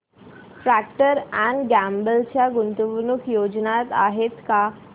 Procter and Gamble च्या गुंतवणूक योजना आहेत का